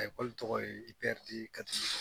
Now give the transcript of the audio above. tɔgɔ ye Bɛrite Kadi ye